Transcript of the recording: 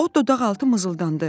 O dodaqaltı mızıldandı.